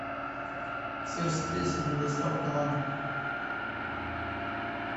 сыр с плесенью доставка на дом